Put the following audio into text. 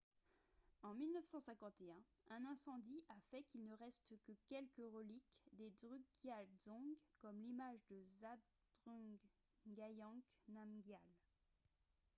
en 1951 un incendie a fait qu'il ne reste que quelques reliques des drukgyal dzong comme l'image de zhabdrung ngawang namgyal